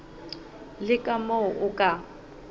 le ka moo o ka